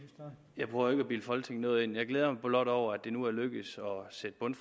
jeg prøver ikke at bilde folketinget noget ind jeg glæder mig blot over at det nu er lykkedes